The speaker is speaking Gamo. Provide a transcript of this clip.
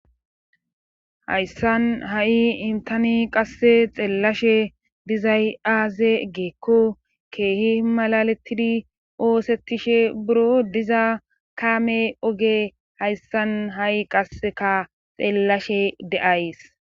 Hayssan ha'i intani qasse xeellashe dizay aaze geekko keehi malalettidi oosettishe buro diza kaame oge hayssan ha'i qasseka xeellashe de'ays.